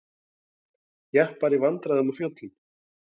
Jeppar í vandræðum á fjöllum